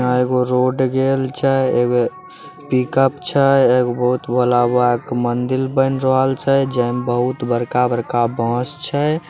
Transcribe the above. यहां एगो रोड गेल छै एगो पिक-अप छै एगो बहुत भोला बाबा के मंदिर बेन रहल छै जे में बहुत बड़का-बड़का बांस छै।